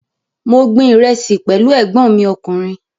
Mo gbin ìrẹsì pẹ̀lú ẹ̀gbọ́n mi ọkùnrin